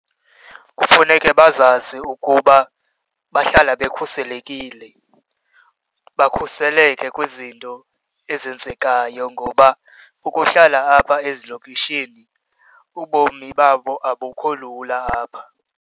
Kufuneke bazazi ukuba bahlala bekhuselekile, bakhuseleke kwizinto ezenzekayo ngoba ukuhlala apha ezilokishini ubomi babo abukho lula apha.